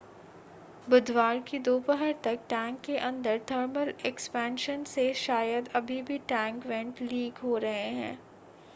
बुधवार की दोपहर तक टैंक के अंदर थर्मल एक्सपेंशन से शायद अभी भी टैंक वेंट लीक हो रहे थे